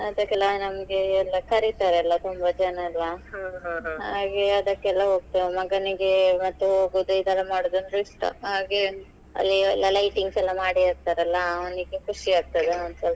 ಅದಕ್ಕೆಲ್ಲ ನಮ್ಗೆ ಎಲಾ ಕರೀತಾರ್ ಅಲ್ಲಾ ತುಂಬಾ ಜನ ಎಲಾ ಹಾಗೆ ಅದಕೆಲ್ಲಾ ಹೋಗ್ತೇವೆ ಮಗನಿಗೆ ಹೋಗೋದು ಇದೆಲ್ಲ ಮಾಡೋದ್ ಅಂದ್ರೆ ಇಷ್ಟ ಹಾಗೆ ಅಲ್ಲಿ ಎಲ್ಲಾ lightings ಎಲ್ಲಾ ಮಾಡಿರ್ತಾರೆ ಅಲ್ಲಾ ಅವ್ನಿಗೆ ಖುಷಿ ಆಗ್ತದೆ ಒಂದ್ ಸ್ವಲ್ಪ.